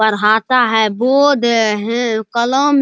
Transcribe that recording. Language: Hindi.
पढ़ाता है बोर्ड है कलम --